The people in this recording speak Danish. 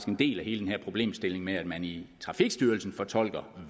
en del af hele den her problemstilling med at man i trafikstyrelsen fortolker